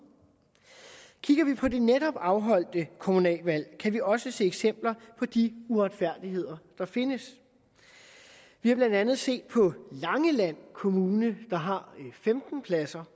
kigger vi på det netop afholdte kommunalvalg kan vi også se eksempler på de uretfærdigheder der findes vi har blandt andet set på langeland kommune der har femten pladser